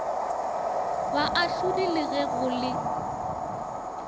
boahlodi le ge go le